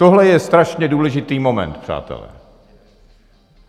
Tohle je strašně důležitý moment, přátelé.